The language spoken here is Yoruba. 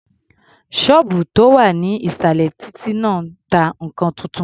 Ṣọ́ọ̀bù tó wà ní ìsàlẹ̀ títí náà ta nǹkan tuntun.